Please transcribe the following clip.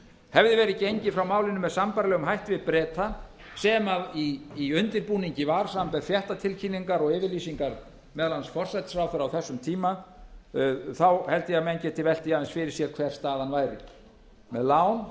hefði verið gengið frá málinu með sambærilegum hætti við breta sem í undirbúningi var samanber fréttatilkynningar og yfirlýsingar meðal annars forsætisráðherra á þessum tíma þá held ég að menn geti velt því aðeins fyrir sér hver staðan væri með lán